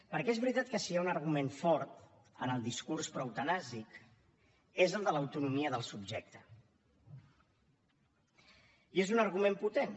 perquè és veritat que si hi ha un argument fort en el discurs proeutanàsic és el de l’autonomia del subjecte i és un argument potent